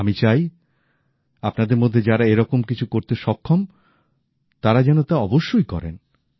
আমি চাই আপনাদের মধ্যে যারা এরকম কিছু করতে সক্ষম তারা যেন তা অবশ্যই করেন